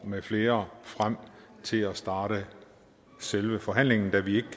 med flere frem til at starte selve forhandlingen da vi